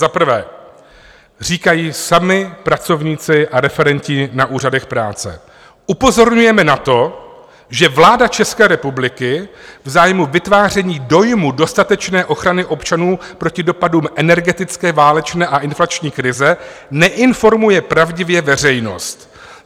Za prvé říkají sami pracovníci a referenti na úřadech práce: "Upozorňujeme na to, že vláda České republiky v zájmu vytváření dojmu dostatečné ochrany občanů proti dopadům energetické, válečné a inflační krize neinformuje pravdivě veřejnost.